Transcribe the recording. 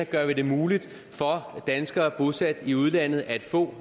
gør vi det muligt for danskere bosat i udlandet at få